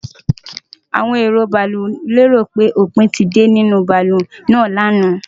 Awon ero baalu léròpé òpin ti de ni ninu baalu naa ni àná.